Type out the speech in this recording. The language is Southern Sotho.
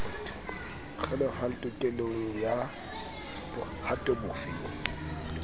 kgelohang tokelong ya bohato bofe